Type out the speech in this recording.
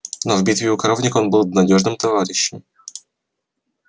но в битве у коровника он был надёжным товарищем